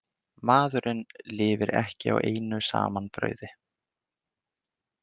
Maðurinn lifir ekki á einu saman brauði.